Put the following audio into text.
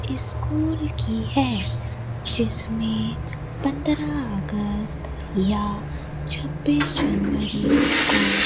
school की है जिसमें पंद्रह अगस्त या छब्बीस जनवरी को --